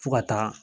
Fo ka taa